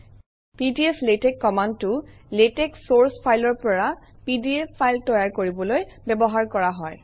পিডিফ্লেটস কমাণ্ডটো লেটেক্স চৰ্চ ফাইলৰ পৰা পিডিএফ ফাইল তৈয়াৰ কৰিবলৈ ব্যৱহাৰ কৰা হয়